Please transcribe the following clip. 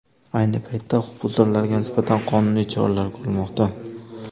Ayni paytda huquqbuzarlarga nisbatan qonuniy choralar ko‘rilmoqda.